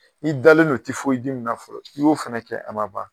Ni dalen don min na folo k'i y'o fɛnɛ kɛ a ma ban.